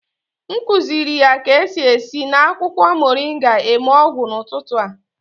M kuziri ya ka-esi esi na akwụkwọ moringa eme ọgwụ n'ụtụtụ a